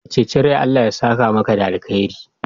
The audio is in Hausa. Ka ceci rai, Allah ya saka maka da alheri.